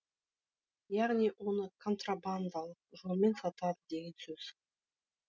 яғни оны контрабандалық жолмен сатады деген сөз